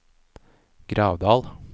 Gravdal